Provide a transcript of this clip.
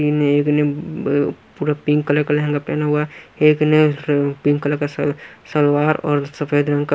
ने पूरा pink colour का लहंगा पहना हुआ है एकने पिंक कलर का सलवार और सफेद रंग का--